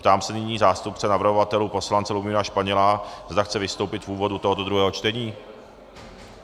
Ptám se nyní zástupce navrhovatelů poslance Lubomíra Španěla, zda chce vystoupit v úvodu tohoto druhého čtení.